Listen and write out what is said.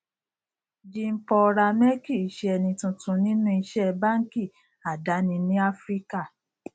jeanpaul ramé kì í ṣe ẹni tuntun nínú iṣẹ báńkì àdáni ní áfíríkà